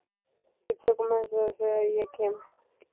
Við tökum á þessu þegar ég kem.